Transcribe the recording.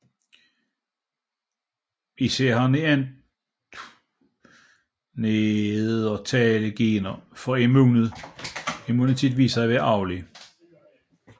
Især har neandertalergener for immunitet vist sig arvelige